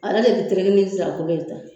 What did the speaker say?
Ale de bɛ nin nsira kolo ye tan.